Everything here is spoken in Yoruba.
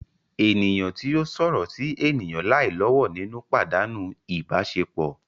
Eniyan ti o sọrọ si eniyan lai lowo ninu padanu ibasepo